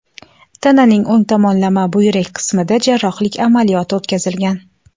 Tananing o‘ng tomonlama buyrak qismida jarrohlik amaliyoti o‘tkazilgan.